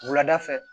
Wulada fɛ